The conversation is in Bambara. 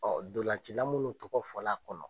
ndolancila min tɔgɔ fɔla kɔnɔ.